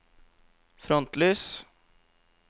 frontlys